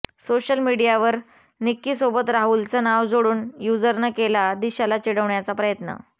social मीडियावर निक्कीसोबत राहुलचं नाव जोडून युझरनं केला दिशाला चिडवण्याचा प्रयत्न